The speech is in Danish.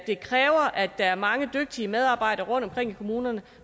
der er mange dygtige medarbejdere rundtomkring i kommunerne